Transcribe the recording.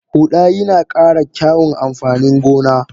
Huda yina kara kyaun amfanin gona.